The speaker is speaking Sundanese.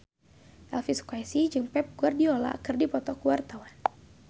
Elvy Sukaesih jeung Pep Guardiola keur dipoto ku wartawan